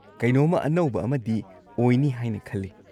ꯀꯩꯅꯣꯝꯃ ꯑꯅꯧꯕ ꯑꯃꯗꯤ ꯑꯣꯏꯅꯤ ꯍꯥꯏꯅ ꯈꯜꯂꯤ꯫